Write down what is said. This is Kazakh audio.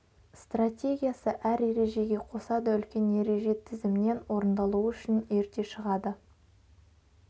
стратегиясы әр ережеге қосады үлкен ереже тізімнен орындалуы үшін ерте шығады